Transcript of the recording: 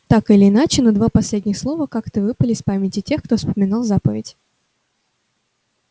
так или иначе но два последних слова как-то выпали из памяти тех кто вспоминал заповедь